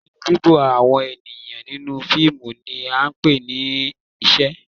Lílọ, bibo àwọn ènìyàn nínú fíìmù ni à ń pè ní ìṣe.